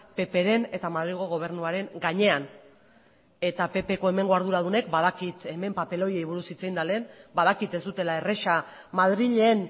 ppren eta madrilgo gobernuaren gainean eta ppko hemengo arduradunek badakit hemen papeloiari hitz egin da lehen badakit ez dutela erraza madrilen